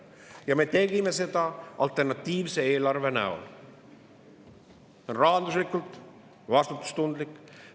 Ja me tegime alternatiivse eelarve, mis on rahanduslikult vastutustundlik.